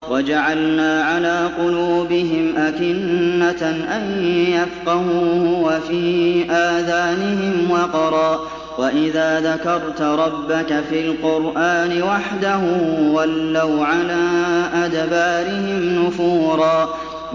وَجَعَلْنَا عَلَىٰ قُلُوبِهِمْ أَكِنَّةً أَن يَفْقَهُوهُ وَفِي آذَانِهِمْ وَقْرًا ۚ وَإِذَا ذَكَرْتَ رَبَّكَ فِي الْقُرْآنِ وَحْدَهُ وَلَّوْا عَلَىٰ أَدْبَارِهِمْ نُفُورًا